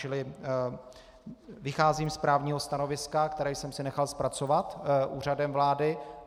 Čili vycházím z právního stanoviska, které jsem si nechal zpracovat Úřadem vlády.